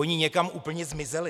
Oni někam úplně zmizeli.